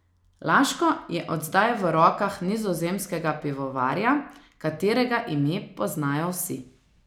Laško je od zdaj v rokah nizozemskega pivovarja, katerega ime poznajo vsi.